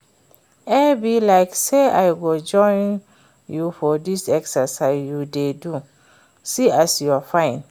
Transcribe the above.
E be like say I go join you for dis exercise you dey do, see as you fine